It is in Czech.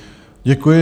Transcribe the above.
Děkuji.